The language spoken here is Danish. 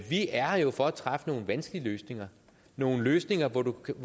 vi er her for at træffe nogle vanskelige løsninger nogle løsninger hvor du kan